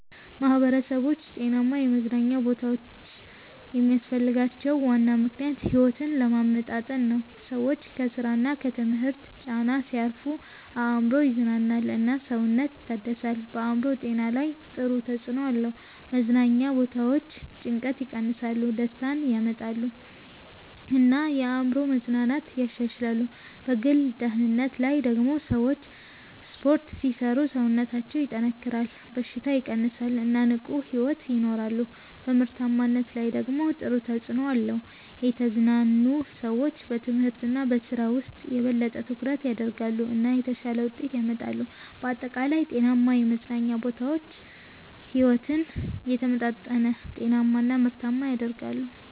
ማህበረሰቦች ጤናማ የመዝናኛ ቦታዎች የሚያስፈልጋቸው ዋና ምክንያት ሕይወትን ለማመጣጠን ነው። ሰዎች ከስራ እና ከትምህርት ጫና ሲያርፉ አእምሮ ይዝናናል እና ሰውነት ይታደሳል። በአእምሮ ጤና ላይ ጥሩ ተጽዕኖ አለው። መዝናኛ ቦታዎች ጭንቀትን ይቀንሳሉ፣ ደስታ ያመጣሉ እና የአእምሮ መዝናናትን ያሻሽላሉ። በግል ደህንነት ላይ ደግሞ ሰዎች ስፖርት ሲሰሩ ሰውነታቸው ይጠናከራል፣ በሽታ ይቀንሳል እና ንቁ ሕይወት ይኖራሉ። በምርታማነት ላይ ደግሞ ጥሩ ተጽዕኖ አለው። የተዝናኑ ሰዎች በትምህርት እና በስራ ውስጥ የበለጠ ትኩረት ያደርጋሉ እና የተሻለ ውጤት ያመጣሉ። በአጠቃላይ ጤናማ የመዝናኛ ቦታዎች ሕይወትን የተመጣጠነ፣ ጤናማ እና ምርታማ ያደርጋሉ።